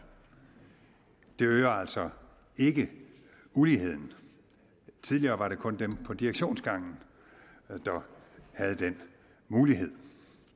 det øger altså ikke uligheden tidligere var det kun dem på direktionsgangen der havde den mulighed